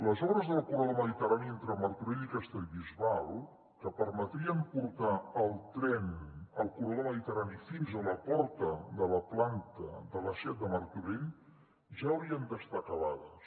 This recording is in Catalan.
les obres del corredor mediterrani entre martorell i castellbisbal que permetrien portar el tren al corredor mediterrani fins a la porta de la planta de la seat a martorell ja haurien d’estar acabades